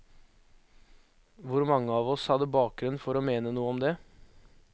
Hvor mange av oss hadde bakgrunn for å mene noe om det.